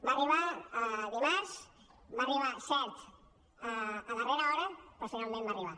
va arribar dimarts va arribar cert a darrera hora però finalment va arribar